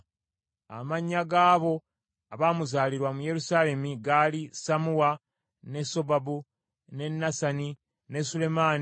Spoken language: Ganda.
Amannya g’abo abaamuzaalirwa mu Yerusaalemi gaali Sammuwa, ne Sobabu, ne Nasani, ne Sulemaani,